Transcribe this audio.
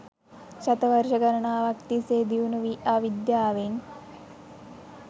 ශතවර්ශ ගණනාවක් තිස්සේ දියුණු වී ආ විද්‍යාවෙන්